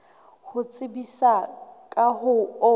ho tsebisa ka ho o